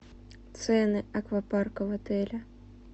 цены аквапарка в отеле